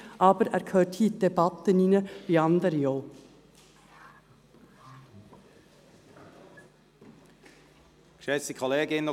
Aber dieser Antrag gehört hier in die Debatte hinein wie anderes auch.